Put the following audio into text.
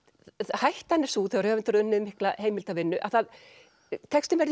hættan er sú þegar höfundur hefur unnið mikla heimildavinnu að textinn verði